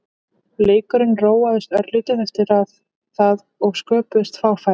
Leikurinn róaðist örlítið eftir það og sköpuðust fá færi.